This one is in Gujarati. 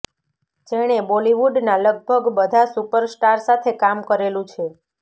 જેણે બોલીવુડના લગભગ બધા સુપર સ્ટાર સાથે કામ કરેલું છે